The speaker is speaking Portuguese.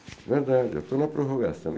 É verdade, eu estou na prorrogação.